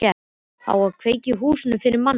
Á að kveikja í húsinu fyrir manni!